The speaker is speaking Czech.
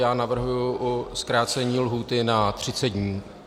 Já navrhuji zkrácení lhůty na 30 dní.